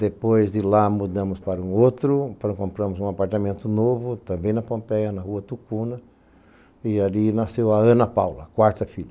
Depois de lá, mudamos para um outro, compramos um apartamento novo, também na Pompeia, na Rua Tucuna, e ali nasceu a Ana Paula, a quarta filha.